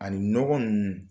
Ani nɔgɔ ninnu